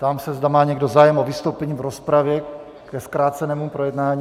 Ptám se, zda má někdo zájem o vystoupení v rozpravě ke zkrácenému projednání.